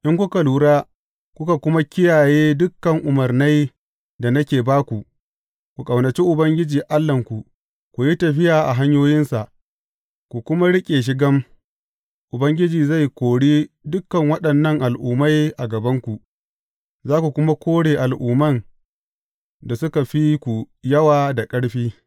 In kuka lura, kuka kuma kiyaye dukan umarnai da nake ba ku, ku ƙaunaci Ubangiji Allahnku, ku yi tafiya a hanyoyinsa, ku kuma riƙe shi gam, Ubangiji zai kori dukan waɗannan al’ummai a gabanku, za ku kuma kore al’umman da suka fi ku yawa da ƙarfi.